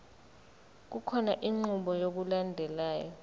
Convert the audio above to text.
kukhona inqubo yokulandelayo